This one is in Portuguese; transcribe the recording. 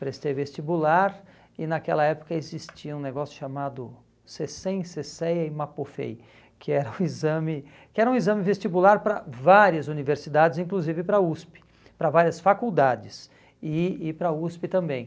Prestei vestibular e naquela época existia um negócio chamado SESEM, SESEA e MAPOFEI, que era um exame que era um examevestibular para várias universidades, inclusive para a USP, para várias faculdades e e para a USP também.